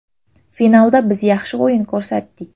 Finalda biz yaxshi o‘yin ko‘rsatdik.